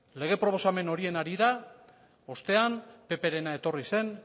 lege proposamen horien harira ostean pprena etorri zen